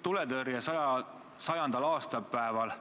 Tuletõrje 100. aastapäeval